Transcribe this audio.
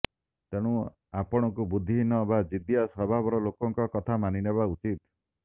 ତେଣୁ ଆପଣଙ୍କୁ ବୁଦ୍ଧିହୀନ ବା ଜିଦ୍ଦିଆ ସ୍ୱଭାବର ଲୋକଙ୍କ କଥା ମାନିନେବା ଉଚିତ୍